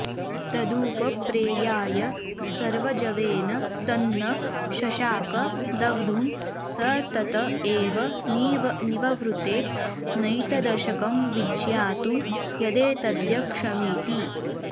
तदुपप्रेयाय सर्वजवेन तन्न शशाक दग्धुं स तत एव निववृते नैतदशकं विज्ञातुं यदेतद्यक्षमिति